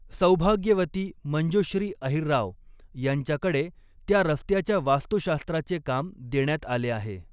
सौभाग्यवती मंजुश्री अहिरराव यांच्याकडे त्या रस्त्याच्या वास्तुशास्त्राचे काम देण्यात आले आहे.